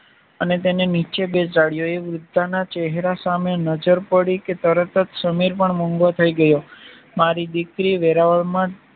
તેને નીચે બેસાડ્યો એ વૃદ્ધના ચેહરા સામે નજર પડી કે તરત જ સમીર પણ મૂંગો થઈ ગયો મારી દીકરી વેરાવળમાં